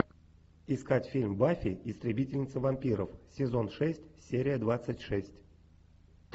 искать фильм баффи истребительница вампиров сезон шесть серия двадцать шесть